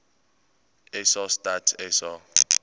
sa stats sa